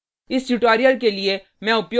इस tutorial के लिए मैं उपयोग कर रहा हूँ